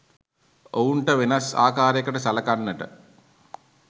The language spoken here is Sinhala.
ඔවුන්ට වෙනස් ආකාරයකට සළකන්නට